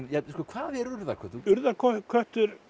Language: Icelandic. hvað er urðarköttur urðarköttur